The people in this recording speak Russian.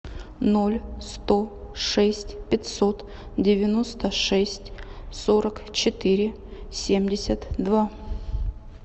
ноль сто шесть пятьсот девяносто шесть сорок четыре семьдесят два